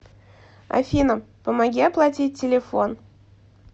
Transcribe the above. афина помоги оплатить телефон